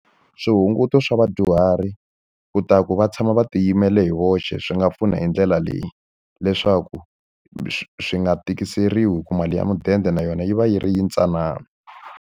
Swihunguto swa vadyuhari leswaku va tshama va tiyimela hi voxe swi nga pfuna hi ndlela leyi. Leswaku swi swi nga tikiseriwi hi ku mali ya mudende na yona yi va yi ri yintsanana.